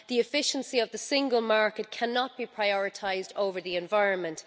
The efficiency of the Single Market cannot be prioritised over the environment.